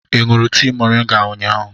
Ị ṅụrụ tea mọrịnga ụnyahụ?